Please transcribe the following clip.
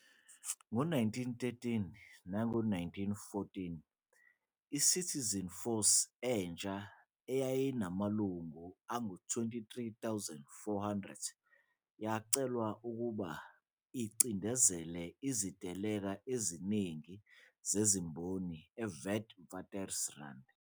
Ngo-1913 nango-1914, iCitizen Force entsha eyayinamalungu angama-23 400 yacelwa ukuba icindezele iziteleka eziningi zezimboni eWitwatersrand.